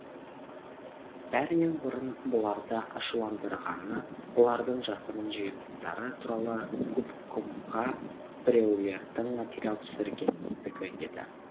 бәрінен бұрын бұларды ашуландырғаны бұлардың жасырын жиылыстары туралы губкомға біреулердің материал түсіргендігі еді